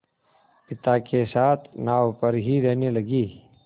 पिता के साथ नाव पर ही रहने लगी